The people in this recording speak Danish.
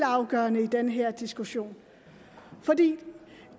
afgørende i den her diskussion for det